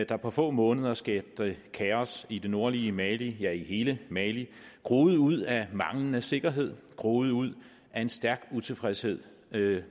der på få måneder skabte kaos i det nordlige mali ja i hele mali groede ud af manglende sikkerhed groede ud af en stærk utilfredshed